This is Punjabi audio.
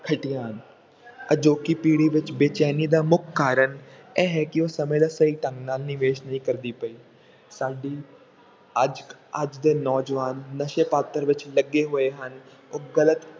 ਖੱਟੀਆਂ ਹਨ ਅਜੋਕੀ ਪੀੜ੍ਹੀ ਵਿੱਚ ਬੇਚੈਨੀ ਦਾ ਮੁੱਖ ਕਾਰਨ ਇਹ ਹੈ ਕਿ ਉਹ ਸਮੇਂ ਦਾ ਸਹੀ ਢੰਗ ਨਾਲ ਨਿਵੇਸ ਨਹੀਂ ਕਰਦੀ ਪਈ, ਸਾਡੀ ਅੱਜ ਅੱਜ ਦੇ ਨੌਜਵਾਨ ਨਸ਼ੇ ਮਾਤਰ ਵਿੱਚ ਲੱਗੇ ਹੋਏ ਹਨ, ਉਹ ਗ਼ਲਤ